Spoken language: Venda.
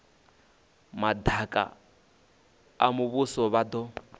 madaka a muvhuso vha do